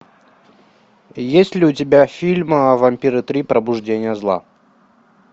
есть ли у тебя фильм вампиры три пробуждение зла